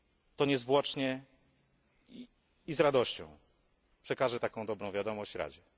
to niezwłocznie i z radością przekażę taką dobrą wiadomość Radzie.